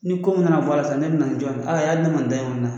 Ni ko min mana bɔ a la sisan ne bi na ni jɔn ye ne man dan